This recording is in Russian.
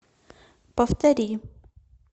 повтори